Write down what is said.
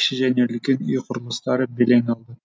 кіші және үлкен үй құрылыстары белең алды